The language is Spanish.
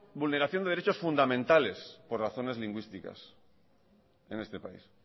vulneración de derechos fundamentales por razones lingüísticas en este pais